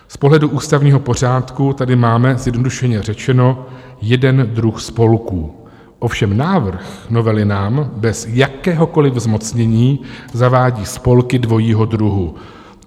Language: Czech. Z pohledu ústavního pořádku tady máme, zjednodušeně řečeno, jeden druh spolků, ovšem návrh novely nám bez jakéhokoliv zmocnění zavádí spolky dvojího druhu.